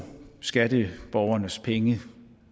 skatteborgernes penge